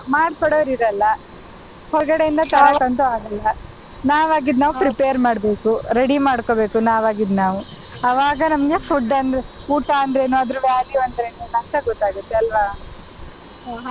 ಮಾಡ್ಕೊಡೋರು ಇರಲ್ಲ ಹೊರಗಡೆ ಇಂದ ಆಗಲ್ಲ ನವಾಗಿದ್ದು ನಾವ್ prepare ಮಾಡ್ಬೇಕು ready ಮಾಡ್ಕೋಬೇಕು ನಾವಾಗಿದ್ನಾವು ಆವಾಗ ನಮ್ಗೆ food ಅಂದ್ರೆ ಊಟ ಅಂದ್ರೆ ಏನಾದ್ರು value ಅಂದ್ರೆ ಏನು ಅಂತ ಗೊತ್ತಾಗುತ್ತೆ ಅಲ್ವಾ.